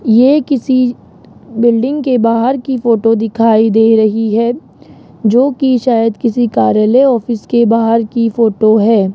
ये किसी बिल्डिंग के बाहर की फोटो दिखाई दे रही है जो कि शायद किसी कार्यालय ऑफिस के बाहर की फोटो है।